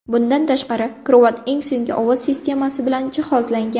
Bundan tashqari krovat eng so‘nggi ovoz sistemasi bilan jihozlangan.